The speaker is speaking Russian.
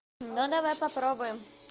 ну давай попробуем